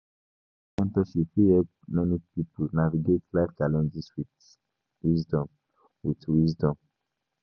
Spiritual mentorship fit help many pipo navigate life challenges with wisdom. with wisdom.